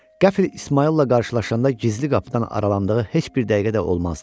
Qəfil İsmayılla qarşılaşanda gizli qapıdan aralandığı heç bir dəqiqə də olmazdı.